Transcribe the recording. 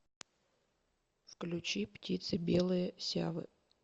включи птицы белые сявы